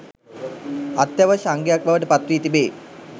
අත්‍යවශ්‍ය අංගයක් බවට පත් වී තිබේ.